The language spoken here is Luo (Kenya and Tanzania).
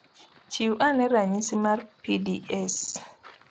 Chiw ane ranyisi mar pda`s